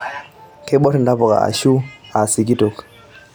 Keiborr ntapuka ashu aa sikitok.